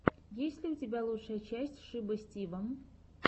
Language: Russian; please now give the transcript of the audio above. есть ли у тебя лучшая часть шиба стива